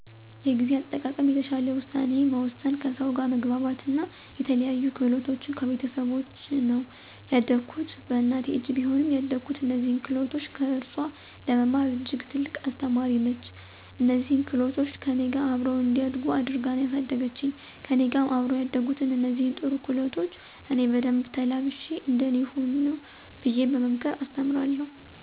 የጊዜ አጠቃቀም፣ የተሻለ ውሳኔ መወሰን፣ ከሰው ጋር መግባባት አና የተለያዩ ክህሎቶችን ከቤተሰቦቸ ነው። ያደኩት በእናቴ እጅ ቢሆንም ያደኩት እነዚህን ክህሎቶች ከእርሱአ ለመማር እጅግ ትልቅ አስተማሪ ነች። እነዚህን ክህሎቶች ከእኔ ጋር አብረው እንዲያድጉ አድርጋ ነው ያሳደገችኝ። ከእኔ ጋር አብረው ያደጉትን እነዚህን ጥሩ ክህሎቶች እኔ በደንብ ተላብሼ እንደ እኔ ሁኑ ብየ በመምከር አስተምራለሁ።